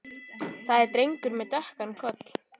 Það er drengur með dökkan koll.